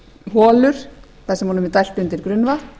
holur þar sem honum er dælt undir grunnvatn